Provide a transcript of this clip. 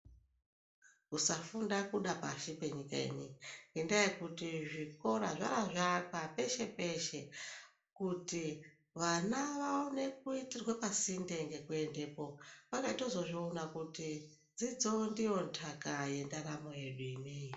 Kusafunda kuda pashi penyika ineyi ngendaa yekuti zvikora zvapeshe peshe kuti vana vaone kuitirwe pasinde ngekuendepo vakatozozviona kuti dzidzo ndiyo ntaka yendaramo yedu.